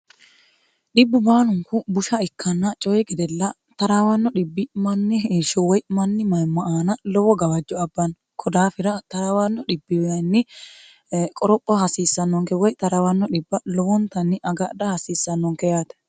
dhibbu baalunku busha ikkanna coyi gedella taraawanno dhibbi manni heshsho woy mani mayimmo aana lowo gawajjo abbanno kodaafira taraawanno dhbi qoropho hasiissannonke woy 0raawanno dhibba lowontanni agadha hasiissannonke yaate